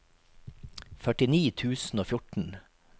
førtini tusen og fjorten